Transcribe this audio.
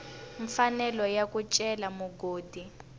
mfanelo ya ku cela mugodi